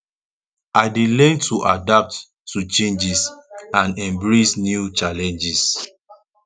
i dey learn to adapt to changes and embrace new challenges